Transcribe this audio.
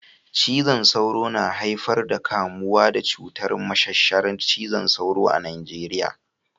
Cizon sauro na haifar kamuwa da cutar mashashara cizon sauro a Najeriya